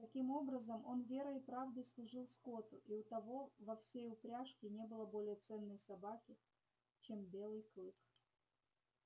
таким образом он верой и правдой служил скотту и у того во всей упряжке не было более ценной собаки чем белый клык